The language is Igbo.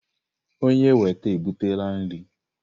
Onye weta ebutela nri.